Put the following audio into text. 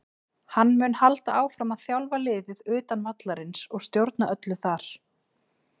Hann mun halda áfram að þjálfa liðið utan vallarins og stjórna öllu þar.